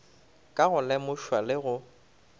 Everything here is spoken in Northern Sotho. ka go lemošwa le go